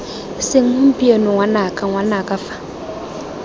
seng gompieno ngwanaka ngwanaka fa